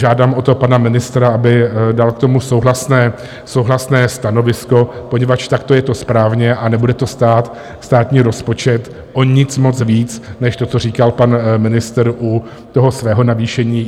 Žádám o to pana ministra, aby dal k tomu souhlasné stanovisko, poněvadž takto je to správně a nebude to stát státní rozpočet o nic moc víc než to, co říkal pan ministr u toho svého navýšení.